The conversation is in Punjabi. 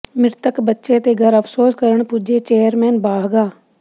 ਮ੍ਰਿਤਕ ਬੱਚੇ ਦੇ ਘਰ ਅਫ਼ਸੋਸ ਕਰਨ ਪੁੱਜੇ ਚੇਅਰਮੈਨ ਬਾਹਗਾ